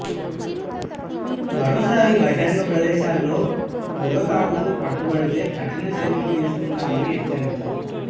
మరోసారి బహిరంగ ప్రదేశాల్లో పొగతాగుతూ పట్టుబడితే కఠిన చర్యలు తీసుకుంటామని హెచ్చరించారు